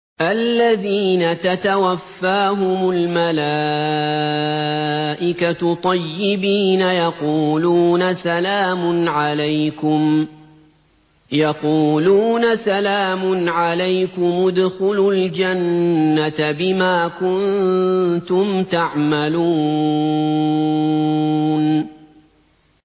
الَّذِينَ تَتَوَفَّاهُمُ الْمَلَائِكَةُ طَيِّبِينَ ۙ يَقُولُونَ سَلَامٌ عَلَيْكُمُ ادْخُلُوا الْجَنَّةَ بِمَا كُنتُمْ تَعْمَلُونَ